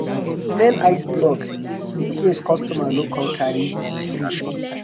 we dey remain iceblock in case customer no come carry im fish on time.